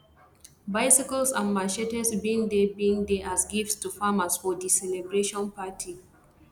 bicycles and machetes bin dey bin dey as gifts to farmers for di celebration party